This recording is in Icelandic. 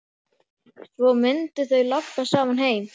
Og svo mundu þau labba saman heim.